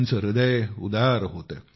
त्यांचे हृदय उदार होते